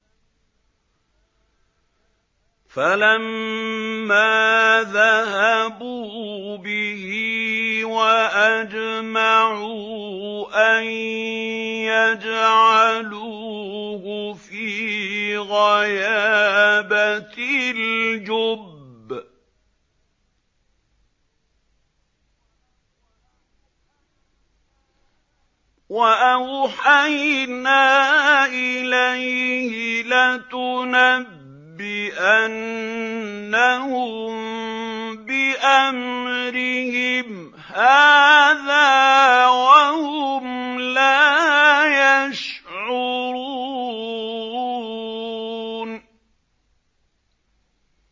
فَلَمَّا ذَهَبُوا بِهِ وَأَجْمَعُوا أَن يَجْعَلُوهُ فِي غَيَابَتِ الْجُبِّ ۚ وَأَوْحَيْنَا إِلَيْهِ لَتُنَبِّئَنَّهُم بِأَمْرِهِمْ هَٰذَا وَهُمْ لَا يَشْعُرُونَ